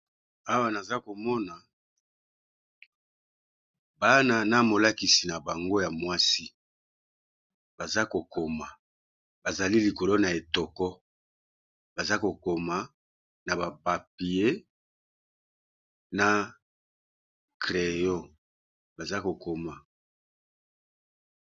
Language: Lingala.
Awa naza komona bana na molakisi na bango ya mwasi baza ko koma bazali likolo na etoko, baza ko koma na ba papier na crayon baza ko koma.